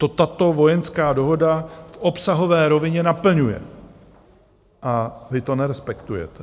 To tato vojenská dohoda v obsahové rovině naplňuje - a vy to nerespektujete.